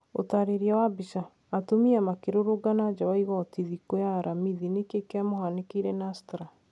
ũtarĩria wa bica, atumia makirũrũngana njaa wa igoti thikũ ya aramithi Niki kiamũhanĩkĩire Nusrat?